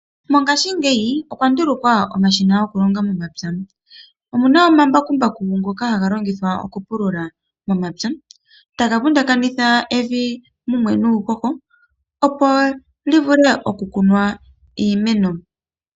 Mongashingeyi okwa ndulukwa omashina gokulonga momapya. Omuna omambakumbaku ngoka hagalongithwa okupulula momapya, taga vundakanitha evi mumwe nuuhoho opo livule okukunwa iimeno.